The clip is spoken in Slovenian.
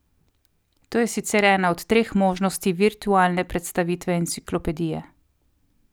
To je sicer ena od treh možnosti virtualne predstavitve enciklopedije.